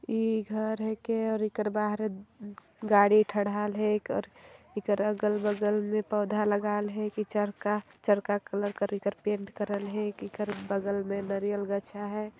ई घर है के इकर बहार उ गाड़ी ठहरेल है कइर इकर अगल बगल मे पौधा लगाल है चरका चरका कलर का इकर पैंट करेल है ईकर बगल मे नरियल गच्छा है।